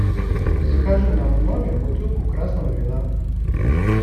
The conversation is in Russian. закажи нам в номер бутылку красного вина